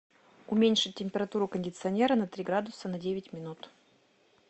уменьшить температуру кондиционера на три градуса на девять минут